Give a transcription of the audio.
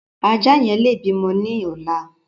Ajá yẹn lè bímọ ní ọ̀la.